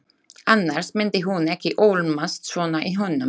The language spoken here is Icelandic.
Annars myndi hún ekki ólmast svona í honum.